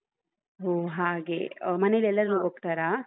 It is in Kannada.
ಹೋ ಹಾಗೆ ಅ ಮನೆಲೆಲ್ಲರೂ ಹೋಗ್ತರಾ?